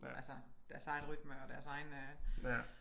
Altså deres eget rytme og deres egen øh